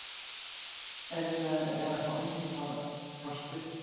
erfiðara var að fá undanþágu frá skriftum